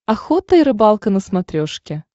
охота и рыбалка на смотрешке